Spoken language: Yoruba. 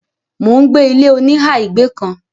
mò ń gbé ilé -oníhà ìgbé kan.